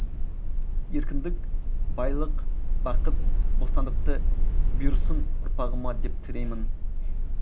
еркіндік байлық бақыт бостандықты бұйырсын ұрпағыма деп тілеймін